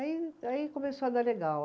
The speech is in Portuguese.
Aí, aí começou a dar legal.